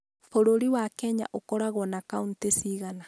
Bũrũri wa Kenya ũkoragwo na kauntĩ ciigana?